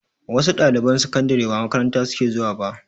Wasu ɗaliban sakandare ba makaranta suke zuwa ba